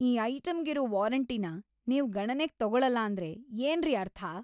ಈ ಐಟಂಗಿರೋ ವಾರಂಟಿನ ನೀವ್‌ ಗಣನೆಗ್‌ ತಗೊಳಲ್ಲ ಅಂದ್ರೆ ಏನ್ರಿ ಅರ್ಥ?!